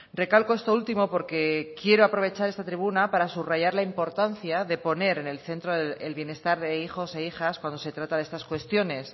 recalco esto último porque quiero aprovechar esta tribuna para subrayar la importancia de poner en el centro el bienestar de hijos e hijas cuando se trata de estas cuestiones